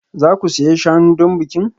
Za ku siyan shanu don bikin?